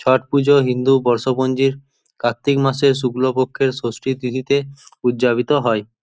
ছট পুজো হিন্দু বর্ষপুঞ্জির কার্তিক মাসে শুক্লপক্ষের ষষ্ঠী তিথিতে উজ্জাপিত হয়।